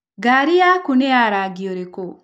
Ngari yaku nĩ ya rangi ũrĩkũ?